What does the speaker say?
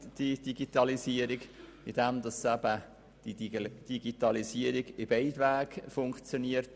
Die Digitalisierung bietet Chancen, denn sie funktioniert in beide Richtungen: